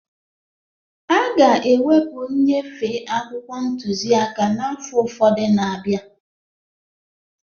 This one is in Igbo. A ga-ewepụ nnyefe akwụkwọ ntuziaka n'afọ ụfọdụ na-abịa